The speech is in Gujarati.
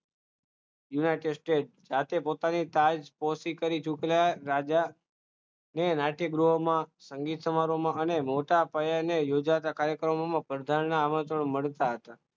united state સાથે પોતાની વાત કરે છે તું પહેલા રાજા તેને રાજ્યગૃહમાં સંગીત સમારોહમાં અને મોટા યોજાતા કાર્યક્રમમાં આમંત્રણ મળતા